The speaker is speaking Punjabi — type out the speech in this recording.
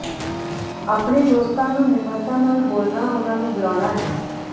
ਆਪਣੇ ਦੋਸਤਾਂ ਨੂੰ ਨਿਮਰਤਾ ਨਾਲ ਬੋਲਣਾ ਉਨ੍ਹਾਂ ਨੂੰ ਬੁਲਾਉਣਾ ਹੈ